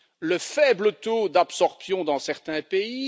le faible taux d'absorption dans certains pays